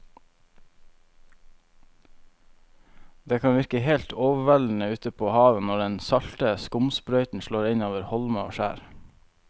Det kan virke helt overveldende ute ved havet når den salte skumsprøyten slår innover holmer og skjær.